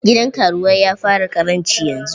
Gidan karuwai ya fara ƙaranci yanzu.